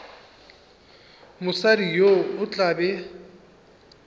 mosadi yo o tla be